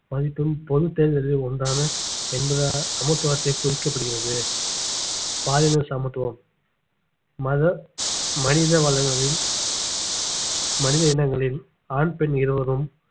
மதிப்பும் பொதுத் தேர்தலில் ஒன்றான என்பதாக சமத்துவத்தை குறிக்கப்படுகிறது பாலின சமத்துவம் மத மனித வளங்களில் மனித இனங்களில் ஆண் பெண் இருவரும்